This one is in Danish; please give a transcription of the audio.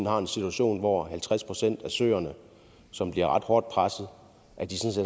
har en situation hvor halvtreds procent af søerne som bliver ret hårdt presset